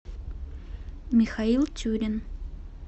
михаил тюрин